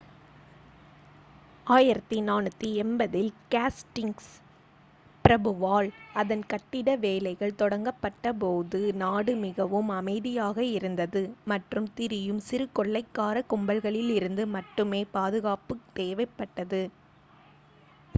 1480 ல் ஹேஸ்டிங்ஸ் பிரபுவால் அதன் கட்டிட வேலைகள் தொடங்கப்பட்ட போது நாடு மிகவும் அமைதியாக இருந்தது மற்றும் திரியும் சிறு கொள்ளைக்கார கும்பல்களிலிருந்து மட்டுமே பாதுகாப்பு தேவைப்பட்டது